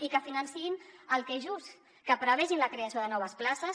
i que financin el que és just que prevegin la creació de noves places